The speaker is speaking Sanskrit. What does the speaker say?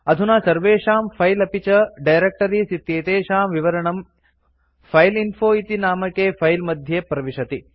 अधुना सर्वेषां फिले अपि च डायरेक्टरीज़ इत्येतेषां विवरणं फाइलइन्फो इति नामके फिले मध्ये प्रविशति